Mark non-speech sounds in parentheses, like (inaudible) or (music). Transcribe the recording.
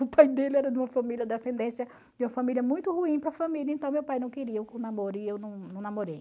O pai dele era de uma família de ascendência, de uma família muito ruim para família, então meu pai não queria eu (unintelligible) namoro e eu não não namorei.